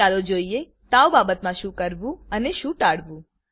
ચાલો જોઈએ તાવ બાબતમાં શું કરવું અને શું ટાળવું